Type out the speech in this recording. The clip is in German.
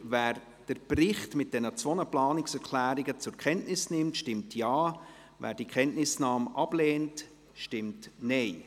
Wer den Bericht mit diesen beiden Planungserklärungen zur Kenntnis nimmt, stimmt Ja, wer die Kenntnisnahme ablehnt, stimmt Nein.